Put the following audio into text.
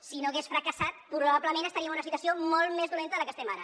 si no hagués fracassat probablement estaríem en una situació molt més dolenta de la que estem ara